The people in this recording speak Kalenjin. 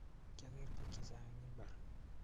kiageer bik chechang eng mbar